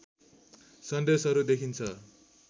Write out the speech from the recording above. सन्देशहरू देखिन्छ